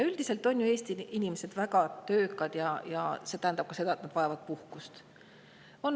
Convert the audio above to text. Üldiselt on ju Eesti inimesed väga töökad ja see tähendab ka seda, et nad vajavad puhkust.